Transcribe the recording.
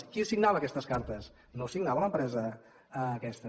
qui signava aquestes cartes no signava l’empresa aquesta